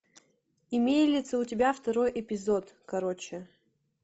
имеется ли у тебя второй эпизод короче